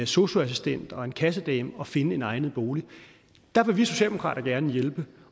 sosu assistent og en kassedame at finde en egnet bolig der vil vi socialdemokrater gerne hjælpe